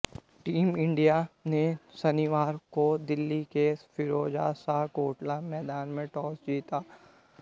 team India ने शनिवार को दिल्ली के फिरोजशाह कोटला मैदान में टॉस जीता